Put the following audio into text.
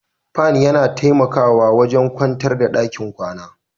Fan yana taimakawa wajen kwantar da ɗakin kwana